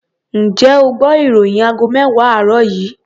Ǹjẹ́ o gbọ́ ìròyìn aago mẹ́wàá àárọ̀ yìí?